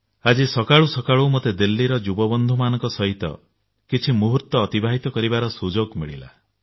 ଆଜି ସକାଳୁ ସକାଳୁ ମୋତେ ଦିଲ୍ଲୀର ଯୁବବନ୍ଧୁମାନଙ୍କ ସହିତ କିଛି ମୁହୂର୍ତ୍ତ ଅତିବାହିତ କରିବାର ସୁଯୋଗ ମିଳିଲା